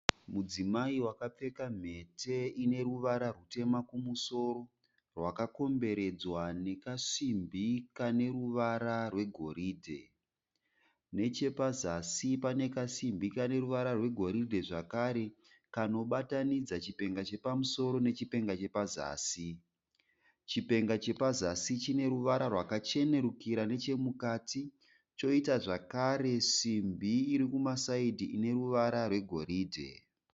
Mudzimai wakapfeka mhete ineruvara rwutema kumusoro rwakakomberedzwa nekasimbi kaneruvara rwegoridhe. Nechepazasi panekasimbi kaneruvara rwegoridhe zvakare kanobatanidza chipenga chepamusoro nechipenga chepazasi. Chipenga chepazasi chineruvara rwakachenerukira nechemukati choita zvakare simbi irikumasaidhi ineruvara rwegoridhe.